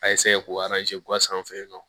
A k'o kura sanfɛ yen nɔ